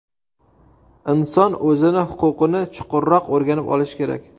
Inson o‘zini huquqini chuqurroq o‘rganib olishi kerak.